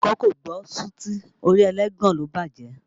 Ìpàkọ́ kò gbọ́ sùtì, orí ẹlẹ́gàn ló bájẹ̀